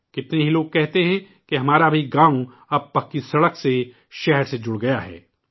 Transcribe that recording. کتنے ہی لوگ کہتے ہیں کہ ہمارا بھی گاؤں اب پکی سڑک سے، شہر سے مربوط ہو گیا ہے